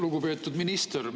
Lugupeetud minister!